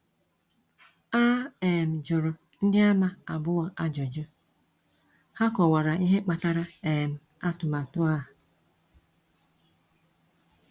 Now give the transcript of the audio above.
A um jụrụ Ndịàmà Abụọ ajụjụ, ha kọwara ihe kpatara um atụmatụ a.